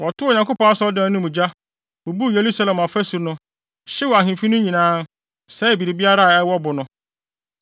Wɔtoo Onyankopɔn Asɔredan no mu gya, bubuu Yerusalem afasu no, hyew ahemfi no nyinaa, sɛee biribiara a ɛwɔ bo no.